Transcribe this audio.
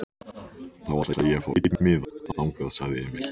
Þá ætla ég að fá einn miða þangað, sagði Emil.